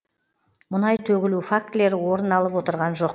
мұнай төгілу фактілері орын алып отырған жоқ